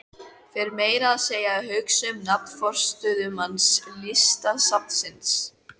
Fer meira að segja að hugsa um nafn forstöðumanns Listasafnsins.